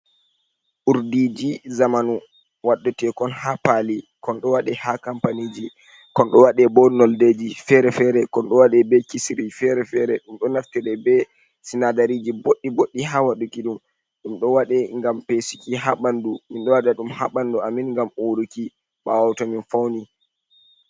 Urdiji zamanu. Waɗetekon ha pali. kon ɗo waɗe ha kompaniji. kon ɗo waɗe bo no deji fere-fere. Kon ɗo waɗe be kisiri fere-fere. Ɗum ɗo naftire be sinadariji boɗɗi boɗɗi ha waɗuki ɗum. Ɗum ɗo waɗe ngam fesiki ha bandu. Min ɗo waɗa dum ha bandu amin gam uruki ɓawo to min fauni.